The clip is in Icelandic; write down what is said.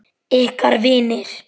Ykkar vinir.